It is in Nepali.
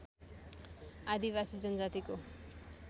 आदिवासी जनजातिको